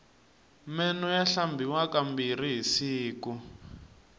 meno ya hlambiwa ka mbirhi hi siku